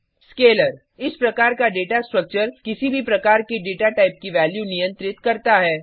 scalar इस प्रकार का डेटा स्ट्रक्चर किसी भी प्रकार के डेटा टाइप की वैल्यू नियंत्रित करता है